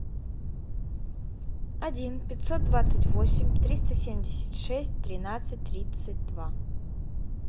один пятьсот двадцать восемь триста семьдесят шесть тринадцать тридцать два